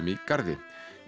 í Garði